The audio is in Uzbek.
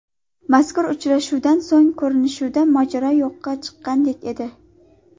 Mazkur uchrashuvdan so‘ng, ko‘rinishidan, mojaro yo‘qqa chiqqandek edi.